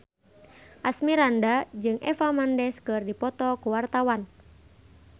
Asmirandah jeung Eva Mendes keur dipoto ku wartawan